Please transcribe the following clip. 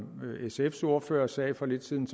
sfs ordfører sagde for lidt siden